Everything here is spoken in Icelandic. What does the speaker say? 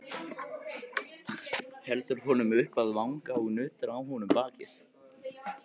Heldur honum upp að vanga og nuddar á honum bakið.